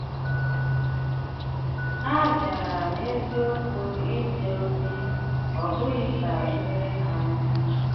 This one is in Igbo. Há bìárà n’eziokwu ìje ozi, ọ̀ bụghị ka e jééré ha ozi.